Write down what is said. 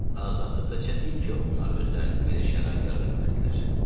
Azadlıqda çətin ki, onlar özlərinə belə şərait yarada bilərdilər.